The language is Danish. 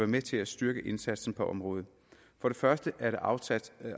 med til at styrke indsatsen på området for det første er der afsat